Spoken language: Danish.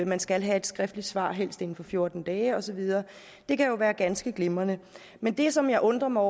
man skal have et skriftligt svar helst inden for fjorten dage og så videre det kan jo være ganske glimrende men det som jeg undrer mig